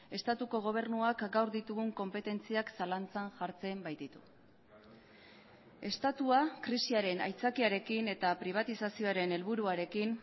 estatuko gobernuak gaur ditugun konpetentziak zalantzan jartzen baititu estatua krisiaren aitzakiarekin eta pribatizazioaren helburuarekin